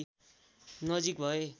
नजिक भए